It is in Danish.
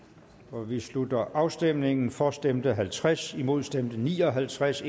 nu vi slutter afstemningen for stemte halvtreds imod stemte ni og halvtreds